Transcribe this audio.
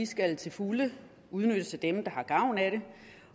skal til fulde udnyttes af dem der har gavn af det